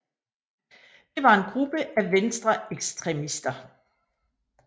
Det var en gruppe af venstreekstremister